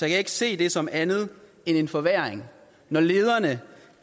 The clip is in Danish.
jeg ikke se det som andet end en forværring når lederne